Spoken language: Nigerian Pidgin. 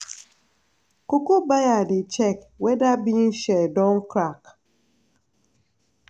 cocoa buyer dey check whether bean shell don crack.